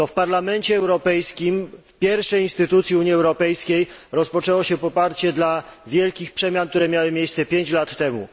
To w Parlamencie Europejskim, w pierwszej instytucji Unii Europejskiej, rozpoczęło się poparcie dla wielkich przemian, które miały miejsce pięć lat temu.